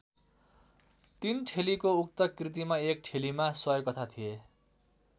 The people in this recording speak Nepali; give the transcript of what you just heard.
तीन ठेलीको उक्त कृतिमा एक ठेलीमा सय कथा थिए।